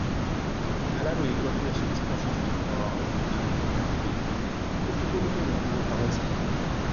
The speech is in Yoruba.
aláròye gbọ pé ẹsùn tí moshood fi kan akẹkọọ náà ni pé ó jí kóló tóun fi owó pamọ sí